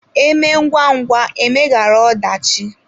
Emee ngwa ngwa e meghara ọdachi.